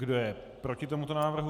Kdo je proti tomuto návrhu?